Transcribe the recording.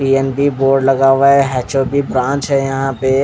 board लगा हुआ है की ब्रांच है यहाँ पे.--